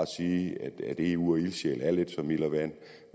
sige at eu og ildsjæle er lidt som ild og vand